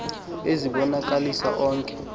ezi bonakalisa onke